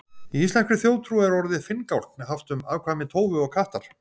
í íslenskri þjóðtrú er orðið finngálkn haft um afkvæmi tófu og kattar